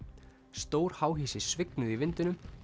stór háhýsi svignuðu í vindinum